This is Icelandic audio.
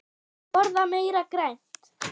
Borða meira grænt.